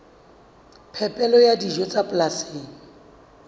phepelo ya dijo tsa polasing